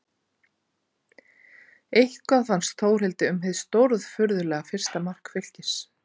En hvað fannst Þórhildi um hið stórfurðulega fyrsta mark Fylkis?